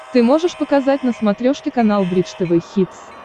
ты можешь показать на смотрешке канал бридж тв хитс